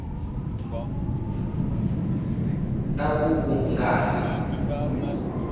ta ku ku nga si